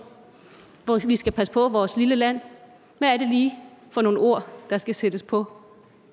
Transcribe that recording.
hvor vi skal passe på vores lille land hvad er det lige for nogle ord der skal sættes på